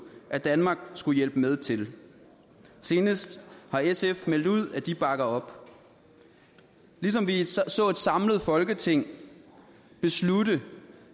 at danmark skulle hjælpe med til senest har sf meldt ud at de bakker op vi så et samlet folketing beslutte